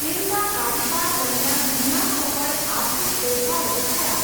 તેમના કાર્યકાળ દરમિયાન ઘણા સફળ આર્થિક ફેરફારો થયા.